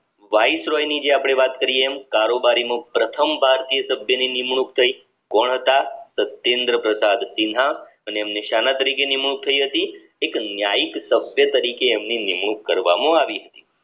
viceroy ની જે આપડે વાત કરીયે એમ કારોબારીમાં પ્રથમ ભારતીય સભ્યની નિમણુંક થઈ કોણ હાટ તો તેન્દ્રપ્રતાપ સિંહા અને નિશાન તરીકે નિમણૂંક થઇ હતી એક ન્યાયિક સભ્ય તરીકે એમની નિમણૂંક કરવામાં આવી હતી